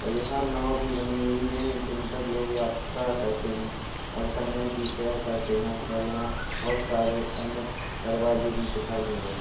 और यहाँ नाव भी बनी हुई हैं। जिन पर लोग यात्रा करते हैं और संगम की शैर करते हैं और यहाँ बहोत सारे अन्य दरवाजे भी दिखायी दे रहे हें।